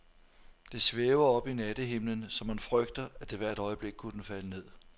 Det svæver oppe i nattehimlen, så man frygter, at det hvert øjeblik kunne falde ned.